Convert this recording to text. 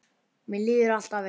Mér líður alltaf eins.